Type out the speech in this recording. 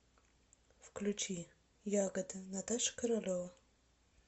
включи ягода наташа королева